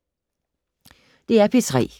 DR P3